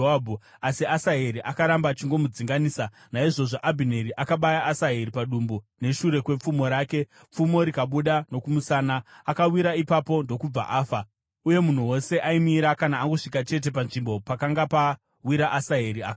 Asi Asaheri akaramba achingomudzinganisa. Naizvozvo Abhineri akabaya Asaheri padumbu neshure kwepfumo rake, pfumo rikabuda nokumusana. Akawira ipapo ndokubva afa. Uye munhu wose aimira kana angosvika chete panzvimbo pakanga pawira Asaheri akafa.